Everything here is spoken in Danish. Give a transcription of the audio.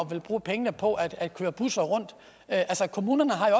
ville bruge pengene på at køre busser rundt altså kommunerne har jo